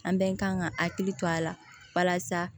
An bɛɛ kan ka hakili to a la walasa